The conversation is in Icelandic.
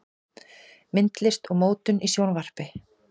Myndlist og mótun í Sjónvarpinu